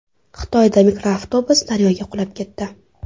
Xitoyda mikroavtobus daryoga qulab ketdi.